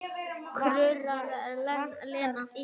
kurrar Lena.